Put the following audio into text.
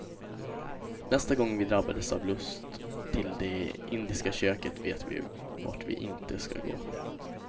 Nästa gång vi drabbas av lust till det indiska köket vet vi vart vi inte ska gå.